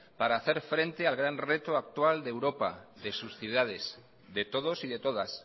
para hacer frente al gran reto actual de europa de sus ciudades de todos y de todas